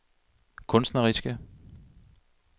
kunstneriske